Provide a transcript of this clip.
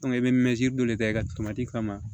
i bɛ dɔ de kɛ i ka kama